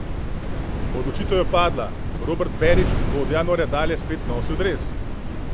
Odločitev je padla, Robert Berić bo od januarja dalje spet nosil dres ...